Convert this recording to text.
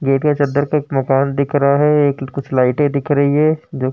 चद्दर पे एक मकान दिख रहा है। एक कुछ लाइटे दिख रही है जो --